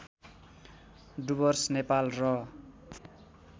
डुवर्स नेपाल र